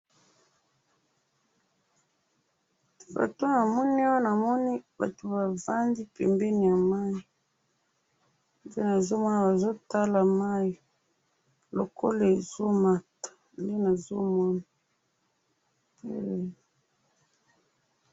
foto namoni awa namoni batu bavandi pembeni ya mayi nde nazomona bazo tala mayi lokola ezo mata nde nazomona